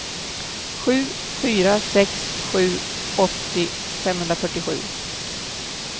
sju fyra sex sju åttio femhundrafyrtiosju